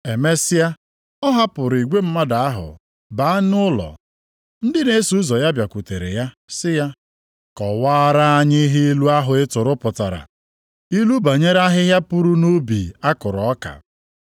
Emesịa, ọ hapụrụ igwe mmadụ ahụ baa nʼụlọ. Ndị na-eso ụzọ ya bịakwutere ya sị ya, “Kọwaara anyị ihe ilu ahụ ị tụrụ pụtara, ilu banyere ahịhịa puru nʼubi a kụrụ ọka.”